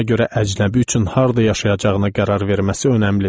Buna görə əcnəbi üçün harda yaşayacağına qərar verməsi önəmlidir.